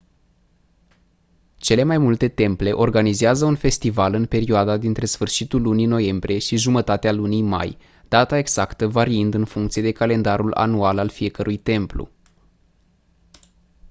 cele mai multe temple organizează un festival în perioada dintre sfârșitul lunii noiembrie și jumătatea lunii mai data exactă variind în funcție de calendarul anual al fiecărui templu